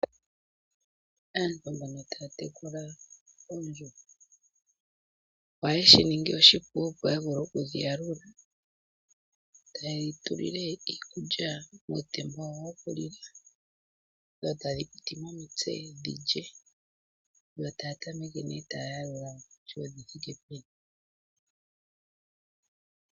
Aantu mbono taa tekula oondjuhwa ohaye shi ningi oshipu opo ya vule okudhi yalula. Taye dhi tulile iikulya muutemba wawo wokulila, dho tadhi piti mo omitse dhi lye. Yo taya tameke nee taa yalula kutya odhi thiike peni.